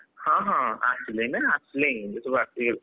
ହଁ ହଁ ଆସିଲେଇଁ ନା! ଆସିଲେଇଁ ଏବେ ସବୁ ଆସିଲେ।